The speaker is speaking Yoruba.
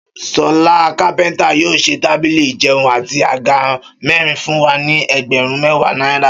Ṣọlá kápẹ́ntà yóò ṣe tábìlì ìjẹun àti àga mẹ́rin fún wa ní ẹgbẹ̀rún mẹ́wàá náírà